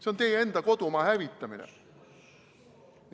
See on teie enda kodumaa hävitamine!